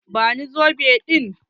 Ba ni zobe ɗin!